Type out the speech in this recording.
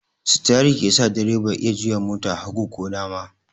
Sitiyari ke sa direba ya iya juya mota hagu ko dama.